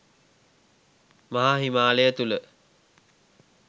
මහා හිමාලය තුළ